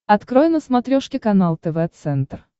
открой на смотрешке канал тв центр